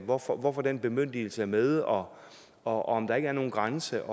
hvorfor hvorfor den bemyndigelse er med og og om der ikke er nogen grænse